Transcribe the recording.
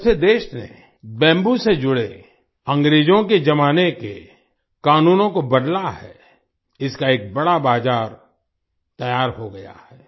जब से देश ने बैम्बू से जुड़े अंग्रेजों के जमाने के कानूनों को बदला है इसका एक बड़ा बाज़ार तैयार हो गया है